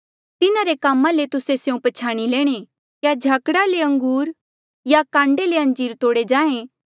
तिन्हारे कामा ले तुस्सा स्यों पछ्याणी लैणे क्या झाकड़ा ले अंगूर या कांडे ले अंजीर तोड़े जाहें